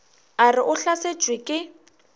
a re o hlasetšwe ke